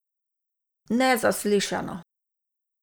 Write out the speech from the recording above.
Nezaslišano!